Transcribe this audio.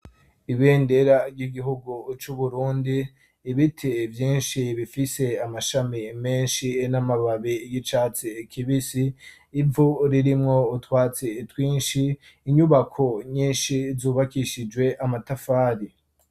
Ibendera ry'igihugu cu Burundi. Ibiti vyinshi bifise amashami menshi n'amababi gicatsi ikibisi ivu ririmwo utwatsi itwinshi inyubako nyinshi zubakishijwe amatafari.